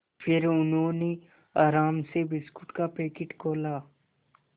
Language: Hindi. फिर उन्होंने आराम से बिस्कुट का पैकेट खोला